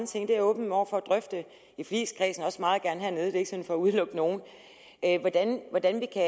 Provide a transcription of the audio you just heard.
ting jeg er åben over for at drøfte i forligskredsen og også meget gerne hernede det er ikke sådan for at udelukke nogen hvordan vi kan